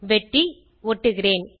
வெட்டி ஒட்டுகிறேன்